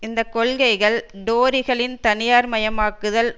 இந்த கொள்கைகள் டோரிகளின் தனியார் மயமாக்குதல்